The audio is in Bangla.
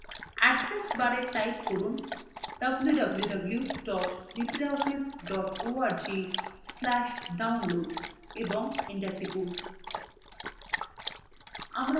এড্রেস bar type করুন: www libreoffice org/download এবং enter টিপুন